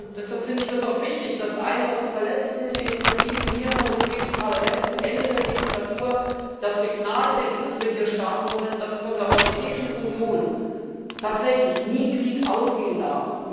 Deshalb finde ich das auch wichtig, dass eine unserer letzten Initiativen hier im Europäischen Parlament zum Ende der Legislaturperiode das Signal ist, dass von der Europäischen Union tatsächlich nie Krieg ausgehen darf.